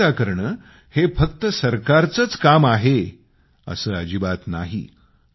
स्वच्छता ठेवणे हे काम फक्त सरकारचं आहे असं अजिबात नाही